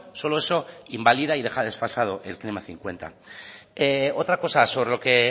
solo eso invalida y deja desfasado el klima dos mil cincuenta otra cosa sobre lo que